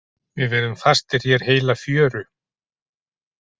Við verðum fastir hér heila fjöru.